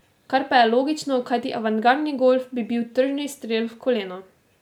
Kar pa je logično, kajti avantgardni golf bi bil tržni strel v koleno.